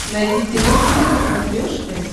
найди кино тиви на смотрешке